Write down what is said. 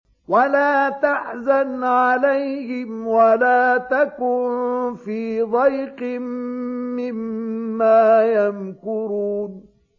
وَلَا تَحْزَنْ عَلَيْهِمْ وَلَا تَكُن فِي ضَيْقٍ مِّمَّا يَمْكُرُونَ